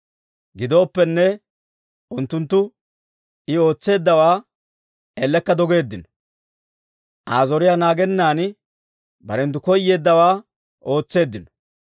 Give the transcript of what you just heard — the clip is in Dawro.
Gidooppenne, unttunttu I ootseeddawaa ellekka dogeeddino. Aa zoriyaa naagennan barenttu koyeeddawaa ootseeddino.